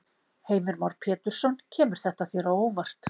Heimir Már Pétursson: Kemur þetta þér á óvart?